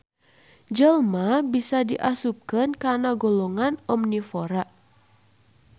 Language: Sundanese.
Jelma bisa diasupken kana golongan omnivora